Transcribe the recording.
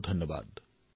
অশেষ ধন্যবাদ